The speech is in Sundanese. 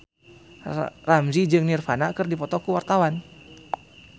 Ramzy jeung Nirvana keur dipoto ku wartawan